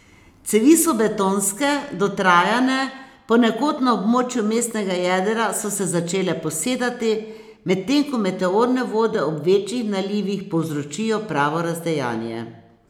Cevi so betonske, dotrajane, ponekod na območju mestnega jedra so se začele posedati, medtem ko meteorne vode ob večjih nalivih povzročijo pravo razdejanje.